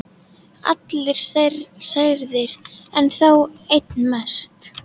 Allir særðir, en þó einn mest.